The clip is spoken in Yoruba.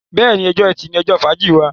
béèni, Ọjọ́ Ẹti ní ojó fàájì wá.